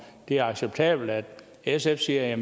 det er acceptabelt at sf siger at